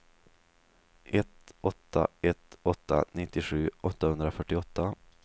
ett åtta ett åtta nittiosju åttahundrafyrtioåtta